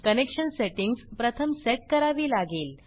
connection settings प्रथम set करावी लागेल